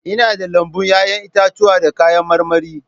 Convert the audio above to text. Ina da lambun 'ya'yan itatuwa da kayan marmari.